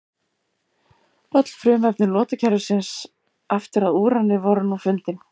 Öll frumefni lotukerfisins aftur að úrani voru nú fundin.